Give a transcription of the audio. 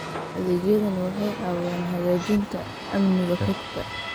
Adeegyadani waxay caawiyaan hagaajinta amniga xogta.